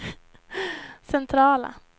centrala